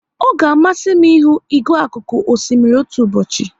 Ọ ga amasị m ihu igwe akuku osimiri otu ụbọchị